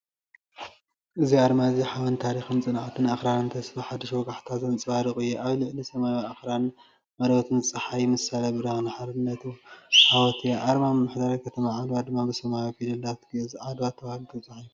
እዚ ኣርማ እዚ ሓበን ታሪኽን ጽንዓት ኣኽራንን ተስፋ ሓድሽ ወጋሕታን ዘንጸባርቕ እዩ። ኣብ ልዕሊ ሰማያዊ ኣኽራን እትበርቕ ጸሓይ ምሳሌ ብርሃን ሓርነትን ዓወትን እያ። ኣርማ ምምሕዳር ከተማ ዓድዋ ድማ፣ ብሰማያዊ ፊደላት ግዕዝ "ዓድዋ" ተባሂሉ ተጻሒፉ ኣሎ።